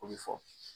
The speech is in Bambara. O bɛ fɔ